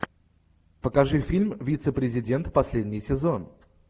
покажи фильм вице президент последний сезон